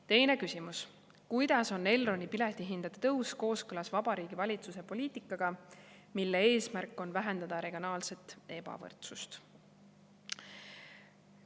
Teine küsimus: "Kuidas on Elroni piletihindade tõus kooskõlas Vabariigi Valitsuse poliitikaga, mille eesmärk on vähendada regionaalset ebavõrdsust?